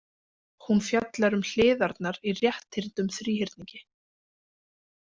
Hún fjallar um hliðarnar í rétthyrndum þríhyrningi.